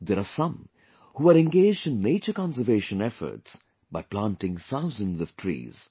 There are some who are engaged in nature conservation efforts by planting thousands of trees